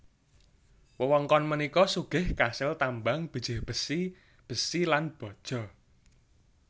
Wewengkon punika sugih kasil tambang bijih besi besi lan baja